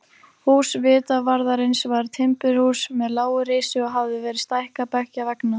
Hús vitavarðarins var timburhús með lágu risi og hafði verið stækkað beggja vegna.